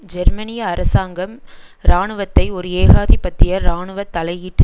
ஜெர்மனிய அரசாங்கம் இராணுவத்தை ஒரு ஏகாதிபத்திய இராணுவ தலையீட்டு